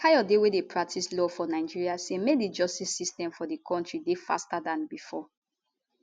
kayode wey dey practice law for nigeria say make di justice system for di kontri dey faster dan bifor